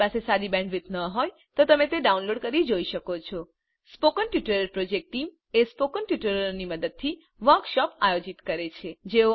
જો તમારી પાસે સારી બેન્ડવિડ્થ ન હોય તો તમે ડાઉનલોડ કરી તે જોઈ શકો છો સ્પોકન ટ્યુટોરીયલ પ્રોજેક્ટ ટીમસ્પોકન ટ્યુટોરીયલોની મદદથી વર્કશોપ આયોજિત કરે છે